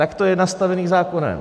Tak to je nastavené zákonem.